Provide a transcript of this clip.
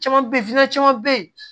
Caman be ye caman be ye